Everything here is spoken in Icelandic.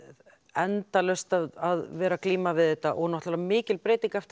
endalaust að vera að glíma við þetta og mikil breyting eftir